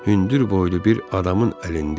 Hündür boylu bir adamın əlində idi.